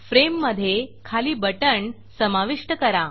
फ्रेममधे खाली बटण समाविष्ट करा